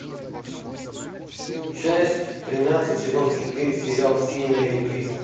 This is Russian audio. часть тринадцать сезон четыре сериал все ненавидят криса